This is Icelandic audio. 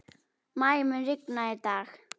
Maj, mun rigna í dag?